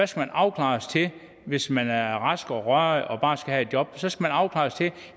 så afklares til hvis man er rask og rørig og bare skal have et job så skal